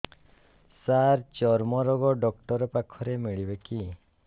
ସାର ଚର୍ମରୋଗ ଡକ୍ଟର ପାଖରେ ମିଳିବେ କି